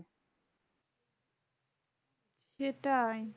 সেটাই।